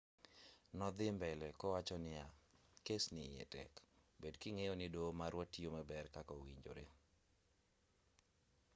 nodhii mbele kowacho niya kes ni iye tek bed king'eyo ni doho marwa tiyo maber kaka owinjore